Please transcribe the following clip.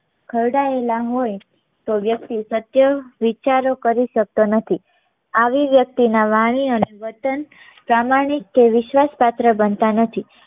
ખાવાડાયેલા હોય તો વ્યક્તિ સત્ય વિચારો કરી શકતો નથી આવા વ્યક્તિ ના વાણી અને વતન પ્રમાણિક કે વિશ્વાસ પાત્ર બનતા નથી